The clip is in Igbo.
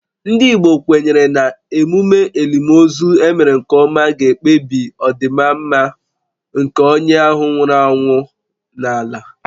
Ndị Igbo kwenyere na emume elimozu e mere nke ọma ga-ekpebi ọdịmma nke onye ahụ nwụrụ anwụ n’ala.